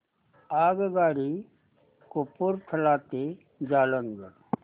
आगगाडी कपूरथला ते जालंधर